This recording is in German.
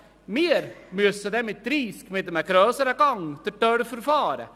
Wir müssen bei Tempo 30 in einem grösseren Gang durch die Dörfer fahren.